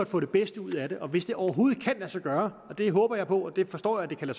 få det bedste ud af det og hvis det overhovedet kan lade sig gøre og det håber jeg på og jeg forstår at det kan